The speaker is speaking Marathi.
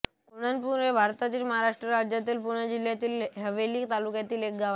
कोंढणपूर हे भारताच्या महाराष्ट्र राज्यातील पुणे जिल्ह्यातील हवेली तालुक्यातील एक गाव आहे